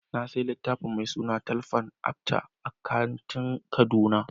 Na sayi littafin mai suna THINGS FALL APART a kantin kaduna.